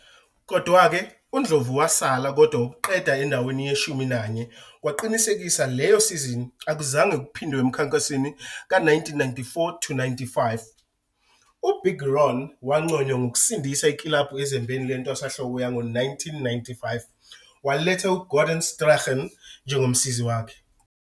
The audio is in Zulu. Kodwa-ke uNdlovu wasala kodwa ukuqeda endaweni yeshumi nanye kwaqinisekisa leyo sizini akuzange kuphindwe emkhankasweni ka-1994-95. UBig Ron wanconywa ngokusindisa ikilabhu ezembeni lentwasahlobo yango-1995, waletha uGordon Strachan njengomsizi wakhe.